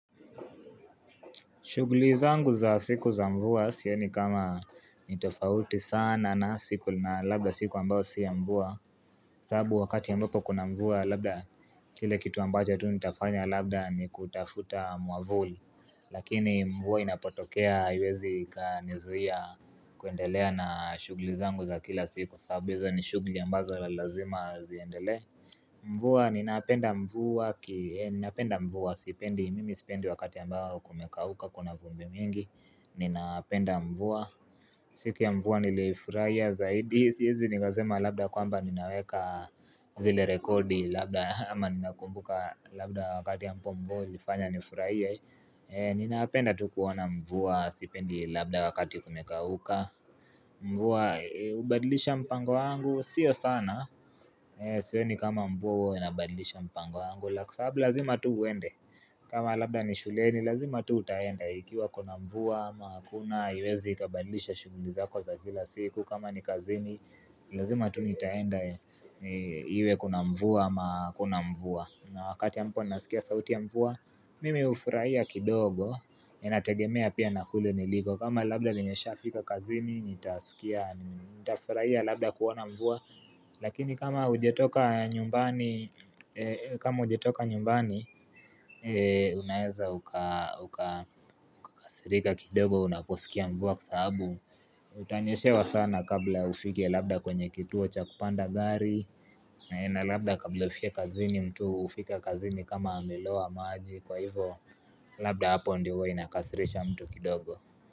Shughuli zangu za siku za mvua sioni kama nitofauti sana na siku na labda siku ambayo si ya mvua Sabbau wakati anbapo kuna kuna mvua labda kile kitu ambacho tu nitafanya labda ni kutafuta mwavuli Lakini mvua inapotokea haiwezi ikanizuia kuendelea na shughuli zangu za kila siku sababu hizo ni shughuli ambazo lazima ziendele Mvua, ninapenda mvua, ninapenda mvua, sipendi, mimi sipendi wakati ambao kumekauka kuna vumbi mingi, ninaapenda mvua, siku ya mvua nilifurahia zaidi, siwezi nikasema labda kwamba ninaweka zile rekodi labda ama ninakumbuka labda wakati ambao mvua ulifanya nifurahie, ninapenda tu kuona mvua, sipendi labda wakati kumekauka, mvua, hubadilisha mpango wangu, sio sana, Sioni kama mvua huwa inabandilisha mpango wangu la Kwa sababu lazima tu uende kama labda ni shuleni lazima tu utaenda Ikiwa kuna mva ama hakuna haiwezi ikabandilisha shughuli zako za kila siku kama ni kazini Lazima tu nitaenda Iwe kuna mvua ama hakuna mvua na wakati ambapo ninasikia sauti ya mvua Mimi hufurahia kidogo Inategemea pia na kule niliko kama labda nimeshafika kazini Nitasikia Nitafurahia labda kuona mvua Lakini kama ujetoka nyumbani unaweza ukakasirika kindogo unaposikia mvua kwa sababu Utanyeshewa sana kabla ufike labda kwenye kituo cha kupanda gari na labda kabla ufike kazini mtu hufika kazini kama amelowa maji kwa hivyo Labda hapo ndio huwa inakasirisha mtu kindogo.